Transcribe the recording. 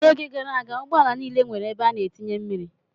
N'oge gara aga, ụgbọala niile nwere ebe a na-etinye mmiri.